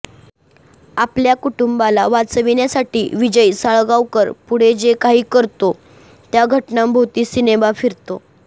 आपल्या कुटुंबाला वाचविण्यासाठी विजय साळगावकर पुढे जे काही करतो त्या घटनांभोवती सिनेमा फिरतो